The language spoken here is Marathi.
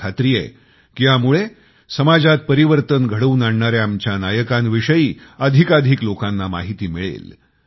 मला खात्री आहे कि ह्यामुळे समाजात परिवर्तन घडवून आणणाऱ्या आमच्या नायाकांविषयी अधिकाधिक लोकांना माहिती मिळेल